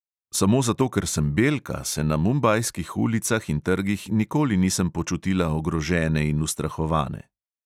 Samo zato, ker sem belka, se na mumbajskih ulicah in trgih nikoli nisem počutila ogrožene in ustrahovane.